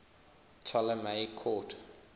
ptolemaic court